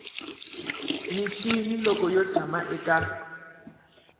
mixini loko u tshama eka